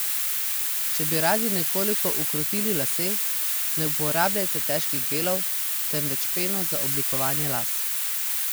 Če bi radi nekoliko ukrotili lase, ne uporabljate težkih gelov, temveč peno za oblikovanje las.